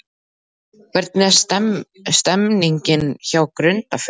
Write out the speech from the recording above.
Hvernig er stemningin hjá Grundarfirði?